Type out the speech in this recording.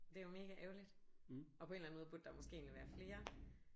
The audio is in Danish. Det er jo mega ærgerligt. Og på en eller anden måde burde der måske egentlig være flere